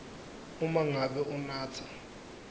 uma ngabe unatsa